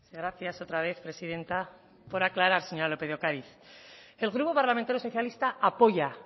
gracias otra vez presidenta por aclarar señora lópez de ocariz el grupo parlamentario socialista apoya